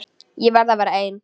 Ég verð að vera ein.